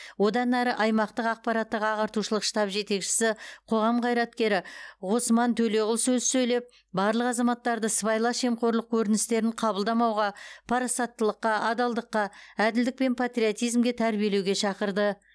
одан әрі аймақтық ақпараттық ағартушылық штаб жетекшісі қоғам қайраткері ғосман төлеғұл сөз сөйлеп барлық азаматтарды сыбайлас жемқорлық көріністерін қабылдамауға парасаттылыққа адалдыққа әділдік пен патриотизмге тәрбиелеуге шақырды